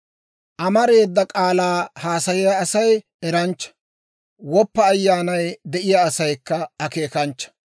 Amareeda k'aalaa haasayiyaa Asay eranchcha; woppa ayyaanay de'iyaa asaykka akeekanchcha.